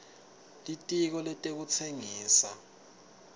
litiko letekutsengisa